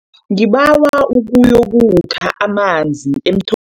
Ngibawa uyokukha amanzi emtho